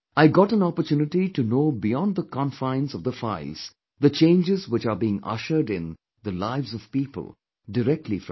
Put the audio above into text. I got an opportunity to know beyond the confines of the files the changes which are being ushered in the lives of people directly from them